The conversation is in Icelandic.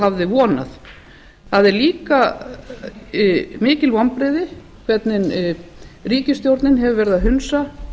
hafði vonað það er líka mikil vonbrigði hvernig ríkisstjórnin hefur verið að hunsa